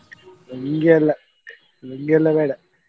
ಲುಂಗಿ ಅಲ್ಲ ಲುಂಗಿಯೆಲ್ಲ ಬೇಡ.